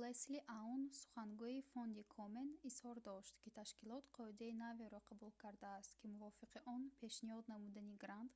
лесли аун сухангӯи фонди комен изҳор дошт ки ташкилот қоидаи наверо қабул кардааст ки мувофиқи он пешниҳод намудани грант